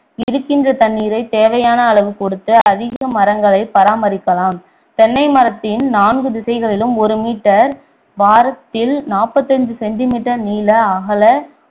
இருக்கின்ற தண்ணீரை தேவையான அளவு கொடுத்து அதிக மரங்களை பராமரிக்கலாம் தென்னை மரத்தின் நான்கு திசைகளிலும் ஒரு meter வாரத்தில் நாற்பத்தைந்து centimeter நீள அகல